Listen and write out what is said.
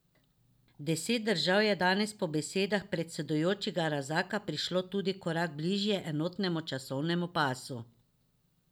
Deset držav je danes po besedah predsedujočega Razaka prišlo tudi korak bližje enotnemu časovnemu pasu.